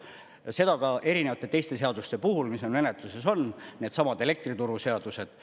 Ja seda ka erinevate teiste seaduste puhul, mis meil menetluses on, needsamad elektrituru seadused.